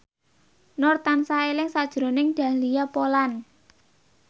Nur tansah eling sakjroning Dahlia Poland